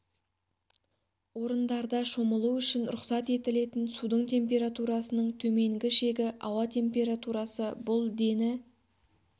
орындарда шомылу үшін рұқсат етілетін судың температурасының төменгі шегі ауа температурасы бұл дені